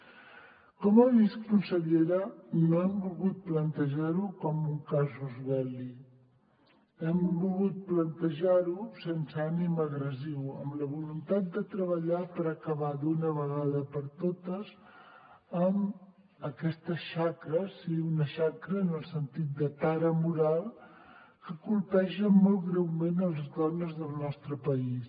com ha vist consellera no hem volgut plantejar ho com un casus belli hem volgut plantejar ho sense ànim agressiu amb la voluntat de treballar per acabar d’una vegada per totes amb aquesta xacra sigui una xacra en el sentit de tara moral que colpeja molt greument les dones del nostre país